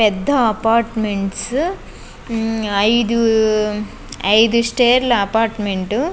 పెద్ద అపార్ట్మెంట్స్ . ఐదు ఐదు స్టేర్ల అపార్ట్మెంటు .